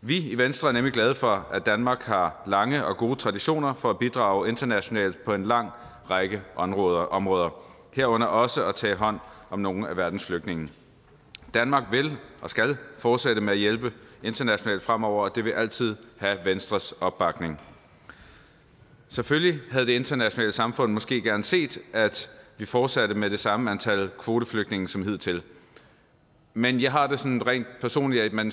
vi i venstre er nemlig glade for at danmark har lange og gode traditioner for at bidrage internationalt på en lang række områder områder herunder også at tage hånd om nogle af verdens flygtninge danmark vil og skal fortsætte med at hjælpe internationalt fremover og det vil altid have venstres opbakning selvfølgelig havde det internationale samfund måske gerne set at vi fortsatte med det samme antal kvoteflygtninge som hidtil men jeg har det sådan rent personligt at man